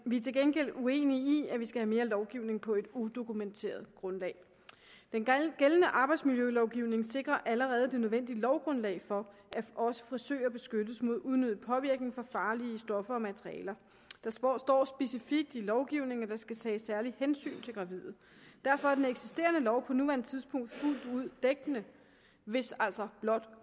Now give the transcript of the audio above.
vi er til gengæld uenige i at vi skal have mere lovgivning på et udokumenteret grundlag den gældende arbejdsmiljølovgivning sikrer allerede det nødvendige lovgrundlag for at også frisører beskyttes mod unødig påvirkning fra farlige stoffer og materialer der står står specifikt i lovgivningen at der skal tages særligt hensyn til gravide derfor er den eksisterende lov på nuværende tidspunkt fuldt ud dækkende hvis altså blot